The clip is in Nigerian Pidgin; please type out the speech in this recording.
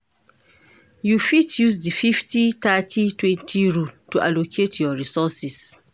You fit use di 50/30/20 rule to allocate your resources.